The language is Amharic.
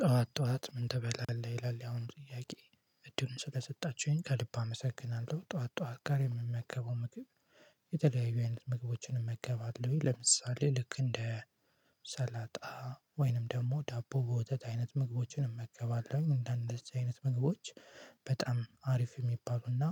ጠዋት ጠዋት ምን ተበላለህ ይላል አሁን ጥያቄ? እድሉን ስለሰጣችሁኝ ከልብ አመሰግናለሁ። ጠዋት ጠዋት ጋር የምመገበው ምግብ። የተለያዩ አይነት ምግቦችን እመገባለሁኝ ለምሳሌ ልክ እንደ ሰላጣ ወይንም ደግሞ ዳቦ በወተት አይነት ምግቦችን እመገባለሁኝ እንደዚህ አይነት ምግቦች በጣም አሪፍ የሚባሉና።